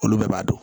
Olu bɛɛ b'a dɔn